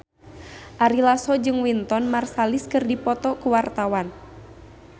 Ari Lasso jeung Wynton Marsalis keur dipoto ku wartawan